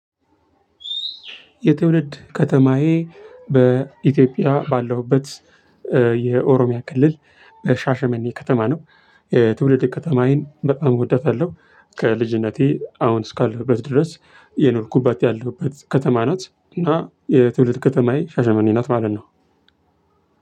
የትውልድ ከተማዬ በኢትዮጵያ ባለሁበት የኦሮሚያ ክልል በሻሸመኔ ከተማ ነው። የትውልድ ከተማዬን በጣም እወዳታለሁ ከልጅነቴ አሁን እስካለሁበት ድረስ የኖርኩባት ያለሁባት ከተማ።